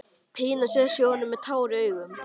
Pína sest hjá honum með tár í augum.